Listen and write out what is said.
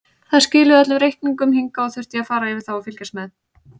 Þær skiluðu öllum reikningum hingað og þurfti ég að fara yfir þá og fylgjast með.